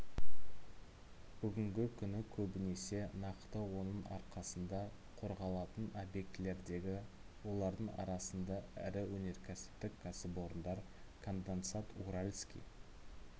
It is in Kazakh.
бүгінгі күні көбінесе нақты оның арқасында қорғалатын объектілердегі олардың арасында ірі өнеркәсіптік кәсіпорындар конденсат уральский